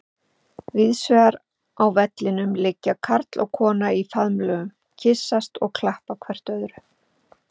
Víðsvegar á vellinum liggja karl og kona í faðmlögum, kyssast og klappa hvert öðru.